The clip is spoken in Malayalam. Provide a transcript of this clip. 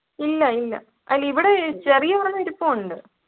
ഇല്ല ഇല്ല അല്ല ഇവിടെ ചെറിയ ഒരെണ്ണം ഇരിപ്പുണ്ട്